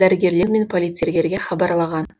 дәрігерлер мен полицейлерге хабарлаған